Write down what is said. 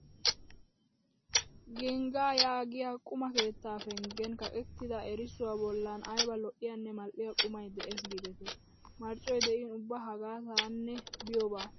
Geniigaa yaagiya quma keettaa penggen kaqettida erissuwa bollan ayba lo'iyanne mal"iya qumay de'ees giidetii! Marccoy de'in ubba hagaa taanne biyoba!